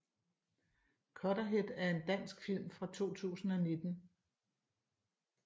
Cutterhead er en dansk film fra 2019